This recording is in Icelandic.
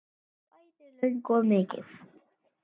Já, bæði löng og mikil.